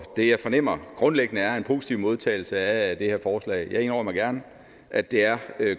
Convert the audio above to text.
det jeg fornemmer grundlæggende er en positiv modtagelse af det her forslag jeg indrømmer gerne at det er